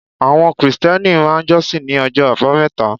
Àwọn Kìrìsìtíẹ́nì máà ń jọ́ṣin ní ọjọ́ àbámẹ́ta